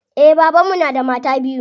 Eh baban mu na da mata biyu.